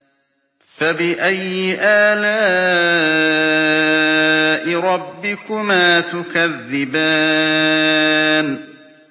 فَبِأَيِّ آلَاءِ رَبِّكُمَا تُكَذِّبَانِ